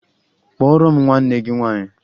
Kpọọrọ m nwanne gị nwaanyị!